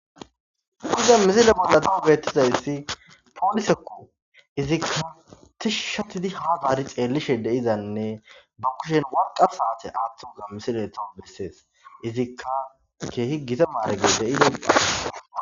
Iza misile bollati kugettizayssi poolisekko izikka tishi shatidi hagaari xeellishe deizanne bukkushen warqa saate aaththuuga misiletho bessees izikka keehi gita maare gesse idee.